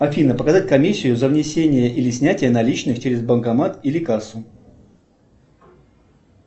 афина показать комиссию за внесение или снятие наличных через банкомат или кассу